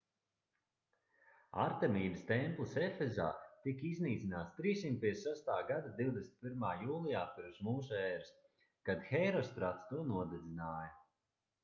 artemīdas templis efesā tika iznīcināts 356. gada 21. jūlijā p.m.ē. kad hērostrats to nodedzināja